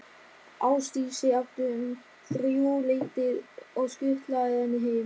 Ásdísi aftur um þrjúleytið og skutlað henni heim.